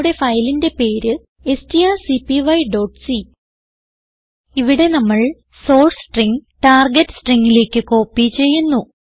നമ്മുടെ ഫയലിന്റെ പേര് strcpyസി ഇവിടെ നമ്മൾ സോർസ് സ്ട്രിംഗ് ടാർഗെറ്റ് stringലേക്ക് കോപ്പി ചെയ്യുന്നു